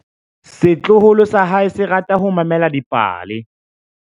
Setloholo sa hae se rata ho mamela dipale.